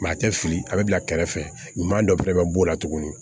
a tɛ fili a bɛ bila kɛrɛfɛ ɲuman dɔ fana bɛ b'o la tuguni